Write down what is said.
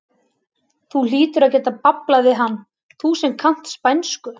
Þú hlýtur að geta bablað við hann, þú sem kannt spænsku!